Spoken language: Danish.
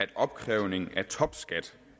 at opkrævningen af topskat